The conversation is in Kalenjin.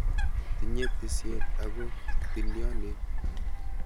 Tinye tisiet ako tiliolen.